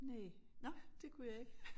Næ det kunne jeg ikke